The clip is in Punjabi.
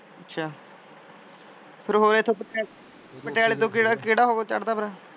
ਅੱਛਾ। ਫੇਰ ਹੋਰ ਇਥੋਂ ਪਟਿਆਲੇ ਤੋਂ ਕਿਹੜਾ ਓਹੋ ਚੜ੍ਹ ਦਾ ਫੇਰ ।